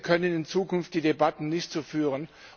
Wir können in Zukunft die Debatten nicht so führen.